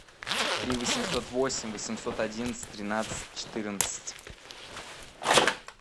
три восемьсот восемь восемьсот одиннадцать тринадцать четырнадцать